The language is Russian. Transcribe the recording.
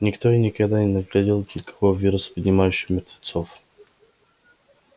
никто и никогда не находил никакого вируса поднимающего мертвецов